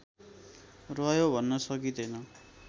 रह्यो भन्न सकिँदैन